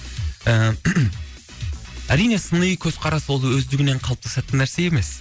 ы әрине сыни көзқарас ол өздігінен қалыптасатын нәрсе емес